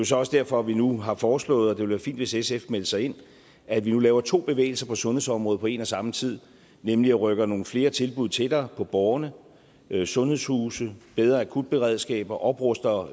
så også derfor at vi nu har foreslået og det ville være fint hvis sf meldte sig ind at vi nu laver to bevægelser på sundhedsområdet på en og samme tid nemlig rykker nogle flere tilbud tættere på borgerne sundhedshuse bedre akutberedskaber opruster